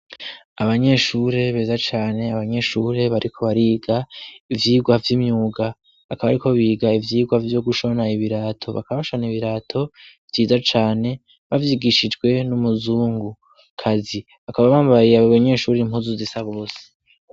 Abanyeshuri beza cane abanyeshuri bariko bariga ivyigwa vy'imyuga akaba ariko biga ivyigwa vyo gushona ibirato bakabashana ibirato byiza cane babyigishijwe n'umuzungu kazi akaba bambaye abanyeshuri impuzu zisa bose.